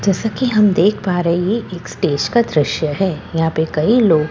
जैसा की हम देख पा रहे है यह एक स्टेज का दृस्य है यहां पे कई लोग परफ़ॉर्म --